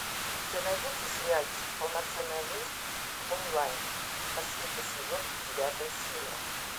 у тебя найдется сериальчик полноценная жизнь онлайн последний сезон девятая серия